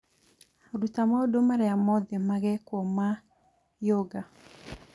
Ruta maũndũ marĩa mothe magekwo ma yoga